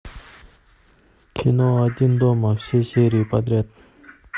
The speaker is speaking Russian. кино один дома все серии подряд